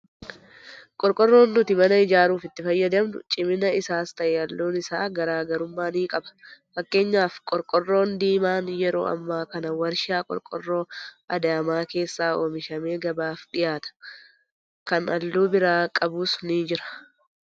Qorqorroon nuti mana ijaaruuf itti fayyadamnu cimina isaas ta'ee halluun isaa garaagarummaa ni qaba. Fakekenyaaf qorqorroon diimaan yeroo ammaa kana warshaa qorqorroo Adaamaa keessaa oomishamee gabaaf dhiyaata. Kan halluu biraa qabus ni jira.